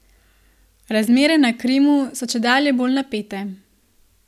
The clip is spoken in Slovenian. Razmere na Krimu so čedalje bolj napete.